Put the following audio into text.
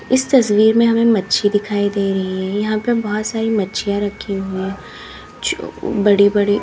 इस तस्वीर में हमें मच्छी दिखाई दे रही है यहां पे बहोत सारी मच्छियां रखी हुई है जो बड़ी बड़ी--